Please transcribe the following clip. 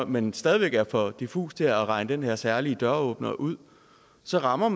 men stadig væk er for diffus til at regne den her særlige døråbner ud så rammer